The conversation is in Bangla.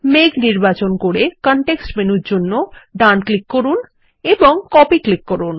মেঘ নির্বাচন করে কনটেক্সট মেনুর জন্য ডান ক্লিক করুন এবং কপি ক্লিক করুন